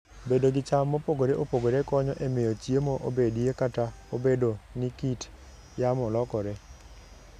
Bedo gi cham mopogore opogore konyo e miyo chiemo obedie kata obedo ni kit yamo lokore.